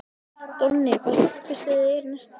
Donni, hvaða stoppistöð er næst mér?